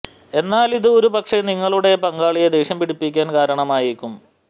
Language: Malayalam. എന്നാൽ ഇത് ഒരു പക്ഷെ നിങ്ങളുടെ പങ്കാളിയെ ദേഷ്യം പിടിപ്പിക്കാൻ കാരണമായേക്കും